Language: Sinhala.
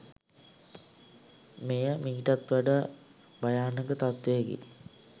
මෙය මීටත් වඩා භයානක තත්වයකි